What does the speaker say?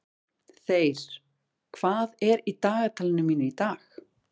Þeyr, hvað er í dagatalinu mínu í dag?